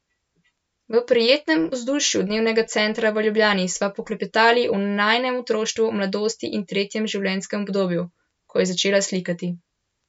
V prijetnem vzdušju dnevnega centra v Ljubljani sva poklepetali o njenem otroštvu, mladosti in tretjem življenjskem obdobju, ko je začela slikati.